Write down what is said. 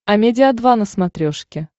амедиа два на смотрешке